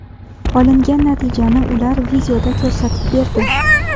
Olingan natijani ular videoda ko‘rsatib berdi.